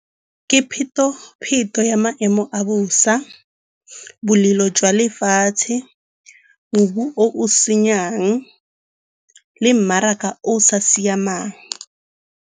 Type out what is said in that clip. Ke pheto-pheto ya maemo a bosa, bolelo jwa lefatshe, mobu o o senyang le mmaraka o sa siamang.